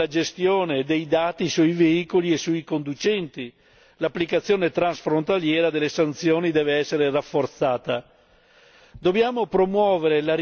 Lo stesso approccio deve essere adottato nella gestione dei dati sui veicoli e sui conducenti e l'applicazione transfrontaliera delle sanzioni deve essere rafforzata.